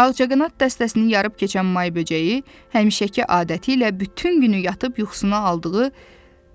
Ağcaqanad dəstəsinin yarıb keçən may böcəyi həmişəki adəti ilə bütün günü yatıb yuxusuna aldığı